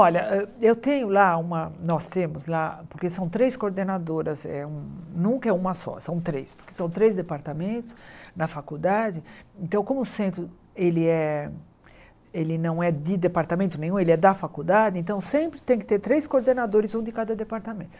Olha, ah eu tenho lá uma, nós temos lá, porque são três coordenadoras, eh hum nunca é uma só, são três, porque são três departamentos, na faculdade, então como o centro ele é ele não é de departamento nenhum, ele é da faculdade, então sempre tem que ter três coordenadores, um de cada departamento.